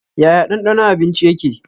Yaya danɗanon abinci yake?